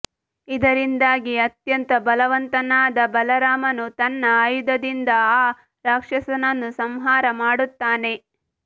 ಇದರಿಂದಾಗಿ ಅತ್ಯಂತ ಬಲವಂತನಾದ ಬಲರಾಮನು ತನ್ನ ಆಯುಧದಿಂದ ಆ ರಾಕ್ಷಸನನ್ನು ಸಂಹಾರ ಮಾಡುತ್ತಾನೆ